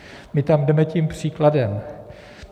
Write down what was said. My tam jdeme tím příkladem.